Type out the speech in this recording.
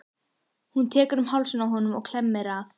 Hún tekur um hálsinn á honum og klemmir að.